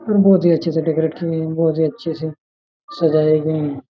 बहुत ही अच्छे से डेकोरेट की गई है बहुत ही अच्छे से सजाये गये हैं।